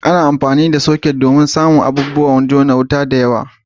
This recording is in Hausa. Ana amfani da soket ne domin samun wajen jona abubuwan wuta da yawa.